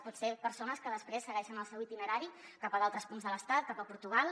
poden ser persones que després segueixen el seu itinerari cap a altres punts de l’estat cap a portugal